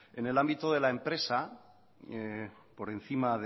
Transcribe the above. en el ámbito de la empresa por encima